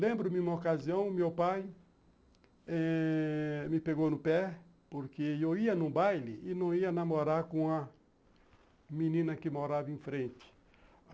Lembro-me uma ocasião, meu pai eh me pegou no pé, porque eu ia num baile e não ia namorar com a menina que morava em frente.